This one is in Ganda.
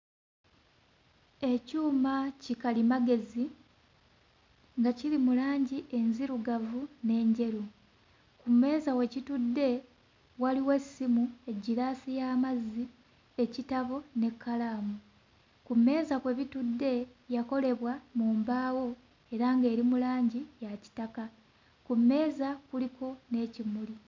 Ekyuma kikalimagezi nga kiri mu langi enzirugavu n'enjeru. Ku mmeeza we kitudde waliwo essimu, eggiraasi y'amazzi, ekitabo n'ekkalaamu. Ku mmeeza kwe bitudde yakolebwa mu mbaawo era ng'eri mu langi ya kitaka, ku mmeeza kuliko n'ekimuli.